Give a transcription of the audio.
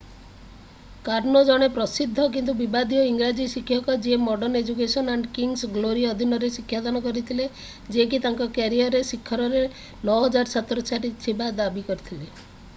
କର୍ନୋ ଜଣେ ପ୍ରସିଦ୍ଧ କିନ୍ତୁ ବିବାଦୀୟ ଇଂରାଜୀ ଶିକ୍ଷକ ଯିଏ modern education and king's glory ଅଧୀନରେ ଶିକ୍ଷାଦାନ କରିଥିଲେ ଯିଏକି ତାଙ୍କ କ୍ୟାରିୟର୍‌ର ଶିଖରରେ 9000 ଛାତ୍ରଛାତ୍ରୀ ଥିବା ଦାବି କରିଥିଲେ ।